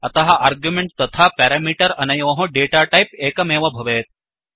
अतः अर्ग्युमेण्ट् तथा प्यरामीटर् अनयोः डेटाटैप् एकमेव भवेत्